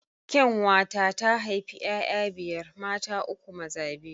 Kyanwa na ta haifi 'ya'ya biyar; mata uku, maza biyu.